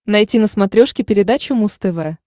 найти на смотрешке передачу муз тв